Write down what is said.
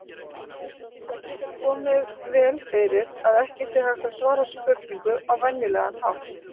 Það getur vel komið fyrir að ekki sé hægt að svara spurningu á venjulegan hátt.